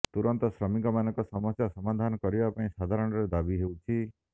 ତୁରନ୍ତ ଶ୍ରମିକ ମାନଙ୍କ ସମସ୍ଯ ସମାଧାନ କରିବା ପାଇଁ ସାଧାରଣରେ ଦାବି ହେଉଛି